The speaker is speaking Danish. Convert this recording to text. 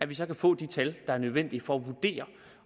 vi få de tal der er nødvendige for at vurdere